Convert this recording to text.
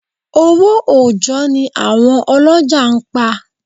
Owó òjọ́ ni àwọn ọlọ́jà ń pa.